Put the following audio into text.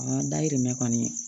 An dayirimɛ kɔni